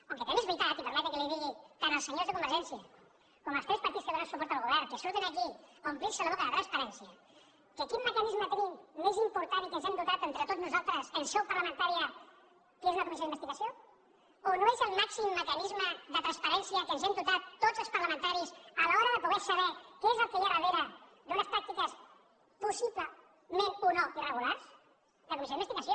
encara que també és veritat i permetin me que ho digui tant als senyors de convergència com als tres partits que donen suport al govern que surten aquí a omplir se la boca de transparència que quin mecanisme tenim més important i de què ens hem dotat entre tots nosaltres en seu parlamentària que una comissió d’investigació o no és el màxim mecanisme de transparència de què ens hem dotat tots els parlamentaris a l’hora de poder saber què és el que hi ha darrere d’unes pràctiques possiblement o no irregulars la comissió d’investigació